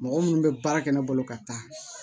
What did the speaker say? Mɔgɔ minnu bɛ baara kɛ ne bolo ka taa